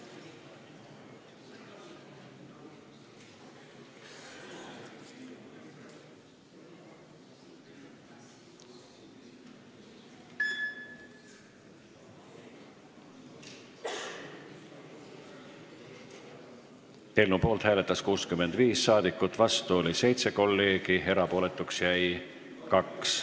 Hääletustulemused Eelnõu poolt hääletas 65 rahvasaadikut, vastu oli 7 kolleegi, erapooletuks jäi 2.